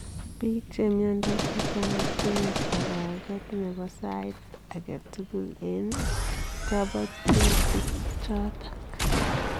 Piik chemnyandos chechang kotinye toroget nepoo sait age tugul eng topotutik chotok